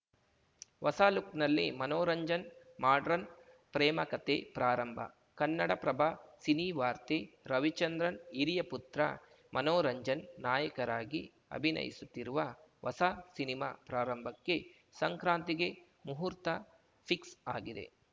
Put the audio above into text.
ಹೊಸ ಲುಕ್‌ನಲ್ಲಿ ಮನೋರಂಜನ್‌ ಮಾಡರ್ನ್‌ ಪ್ರೇಮ ಕತೆ ಪ್ರಾರಂಭ ಕನ್ನಡಪ್ರಭ ಸಿನಿವಾರ್ತೆ ರವಿಚಂದ್ರನ್‌ ಹಿರಿಯ ಪುತ್ರ ಮನೋರಂಜನ್‌ ನಾಯಕರಾಗಿ ಅಭಿನಯಿಸುತ್ತಿರುವ ಹೊಸ ಸಿನಿಮಾ ಪ್ರಾರಂಭಕ್ಕೆ ಸಂಕ್ರಾಂತಿಗೆ ಮುಹೂರ್ತ ಫಿಕ್ಸ್‌ ಆಗಿದೆ